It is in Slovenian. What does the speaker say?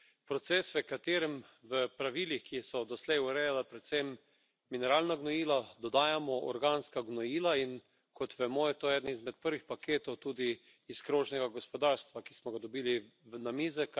Proces, v katerem v pravilih, ki so doslej urejala predvsem mineralna gnojila, dodajamo organska gnojila, in kot vemo, je to eden izmed prvih paketov tudi iz krožnega gospodarstva, ki smo ga dobili na mize.